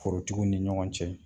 Forotigiw ni ɲɔgɔn cɛ